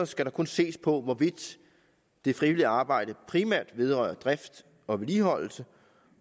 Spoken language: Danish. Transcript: skal der kun ses på hvorvidt det frivillige arbejde primært vedrører drift og vedligeholdelse